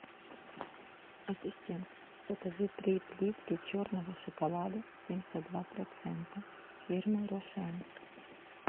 ассистент закажи три плитки черного шоколада семьдесят два процента фирмы рошен